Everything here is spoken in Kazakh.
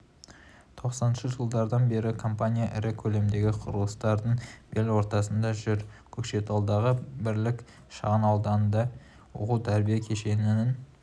тоқсаныншы жылдардан бері компания ірі көлемдегі құрылыстардың бел ортасында жүр көкшетаудағы бірлік шағын ауданында оқу-тәрбие кешенінің